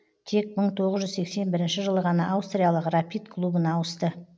тек мың тоғыз жүз сексен бірінші жылы ғана аустриялық рапид клубына ауысты